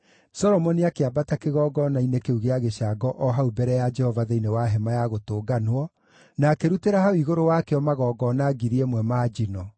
Solomoni akĩambata kĩgongona-inĩ kĩu gĩa gĩcango o hau mbere ya Jehova thĩinĩ wa Hema-ya-Gũtũnganwo, na akĩrutĩra hau igũrũ wakĩo magongona ngiri ĩmwe ma njino.